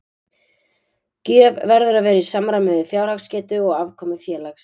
Gjöf verður að vera í samræmi við fjárhagsgetu og afkomu félags.